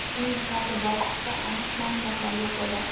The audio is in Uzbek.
Uning qabri borasida aniq ma’lumotlar yo‘q edi.